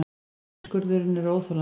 Niðurskurðurinn er óþolandi